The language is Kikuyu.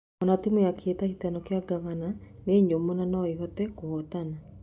"O timu ya kĩhĩtahĩtano kĩa Ngavana nĩ nyũmũ na noĩhote kũhotana.